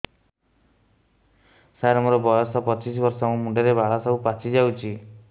ସାର ମୋର ବୟସ ପଚିଶି ବର୍ଷ ମୋ ମୁଣ୍ଡରେ ବାଳ ସବୁ ପାଚି ଯାଉଛି